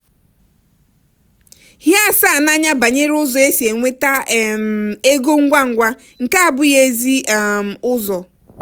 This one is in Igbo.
hie asa n'anya banyere ụzọ esi enweta um ego ngwa ngwa nke abụghị ezi um ụzọ.